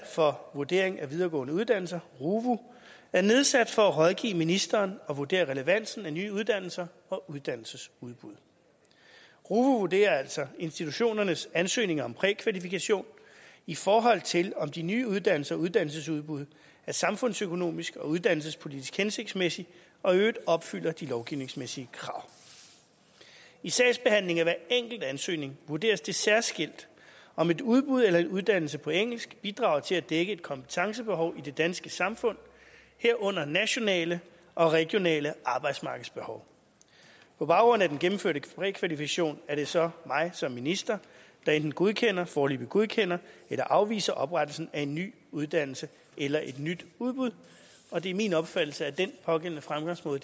for vurdering af videregående uddannelser ruvu er nedsat for at rådgive ministeren og vurdere relevansen af nye uddannelser og uddannelsesudbud ruvu vurderer altså institutionernes ansøgninger om prækvalifikation i forhold til om de nye uddannelser og uddannelsesudbud er samfundsøkonomisk og uddannelsespolitisk hensigtsmæssige og i øvrigt opfylder de lovgivningsmæssige krav i sagsbehandlingen af hver enkelt ansøgning vurderes det særskilt om et udbud eller en uddannelse på engelsk bidrager til at dække et kompetencebehov i det danske samfund herunder nationale og regionale arbejdsmarkedsbehov på baggrund af den gennemførte prækvalifikation er det så mig som minister der enten godkender foreløbigt godkender eller afviser oprettelsen af en ny uddannelse eller et nyt udbud og det er min opfattelse at den pågældende fremgangsmåde